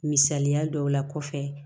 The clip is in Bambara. Misaliya dɔw la kɔfɛ